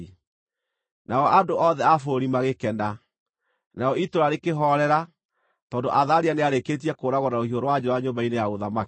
Nao andũ othe a bũrũri magĩkena. Narĩo itũũra rĩkĩhoorera, tondũ Athalia nĩarĩkĩtie kũũragwo na rũhiũ rwa njora nyũmba-inĩ ya ũthamaki.